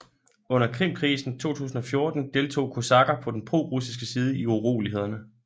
Under Krimkrisen 2014 deltog kosakker på den prorussiske side i urolighederne